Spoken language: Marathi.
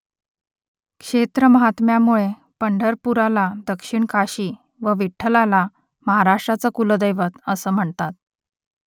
क्षेत्रमाहात्म्यामुळे पंढरपुराला दक्षिण काशी व विठ्ठलाला महाराष्ट्राचं कुलदैवत असं म्हणतात